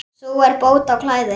Sú er bót á klæði.